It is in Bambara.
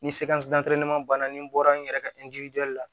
Ni banna ni bɔra n yɛrɛ ka la